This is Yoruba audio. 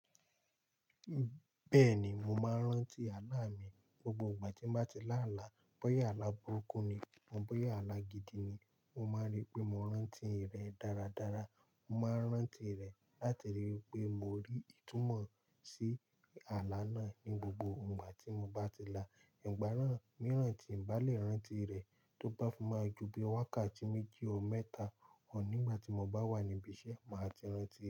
Bẹ́ẹ̀ni, mo máa ń rántí àlaá mi gbogbo ìgbà tí mo bá ti lá àlá. Bóyá àlá burúkú ni, bóyá àlá gidi ni, mo máa rí pé mo rántí rẹ̀ dáradára. Mo máa ń rántí rẹ̀ láti ri wipé mo rí ìtumọ̀ sí àlá náà ní gbogbo ìgbà tí mo bá ti là. Ìgbà ran mìíràn tí n bá lè rántí rẹ̀ tó bá fún máa ju bí wákàtí méjì or méta or nígbà tí mo bá wà níbiṣẹ́, màá ti rántí rẹ̀